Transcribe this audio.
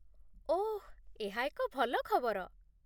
ଓଃ, ଏହା ଏକ ଭଲ ଖବର।